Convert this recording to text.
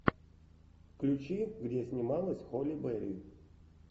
включи где снималась холли берри